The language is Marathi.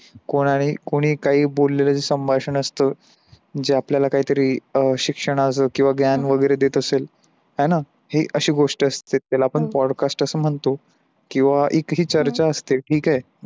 कोणारे कोई काय बोलले तरी संभाषण असतो ज्यात आपल्याला काय तरी अं शिक्षणाचा कीव ज्ञान वगेरे देत असेल आहे न ती असी गोष्ठ त्याला आपण podcast अस म्हणतो कीव एक ही चर्चा असते. ठीक आहे